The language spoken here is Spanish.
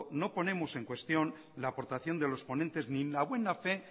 no ponemos en cuestión la aportación de los ponentes ni la buena fe